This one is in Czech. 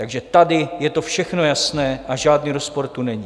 Takže tady je to všechno jasné a žádný rozpor tu není.